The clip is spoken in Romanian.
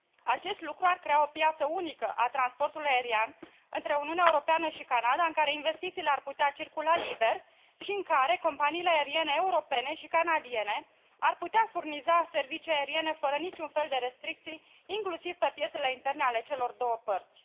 Acest lucru ar crea o piață unică a transportului aerian între Uniunea Europeană și Canada, în care investițiile ar putea circula liber și în care companiile aeriene europene și canadiene ar putea furniza servicii aeriene fără nici un fel de restricții, inclusiv pe piețele interne ale celor două părți.